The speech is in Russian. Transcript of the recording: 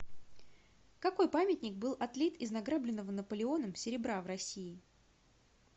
какой памятник был отлит из награбленного наполеоном серебра в россии